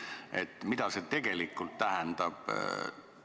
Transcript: Aga mida see tegelikult tähendab?